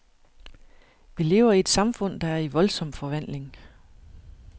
Vi lever i et samfund, der er i voldsom forvandling.